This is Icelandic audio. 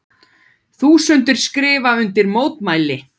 Þúsundir skrifa undir mótmæli